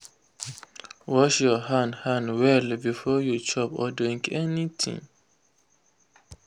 wash your hand hand well before you chop or drink anything.